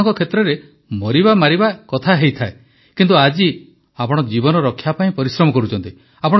ଆପଣଙ୍କ କ୍ଷେତ୍ରରେ ମରିବାମାରିବା କଥା ହୋଇଥାଏ କିନ୍ତୁ ଆଜି ଆପଣ ଜୀବନ ରକ୍ଷା ପାଇଁ ପରିଶ୍ରମ କରୁଛନ୍ତି